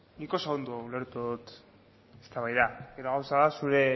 nik oso ondo ulertu dut eztabaida gero gauza da zure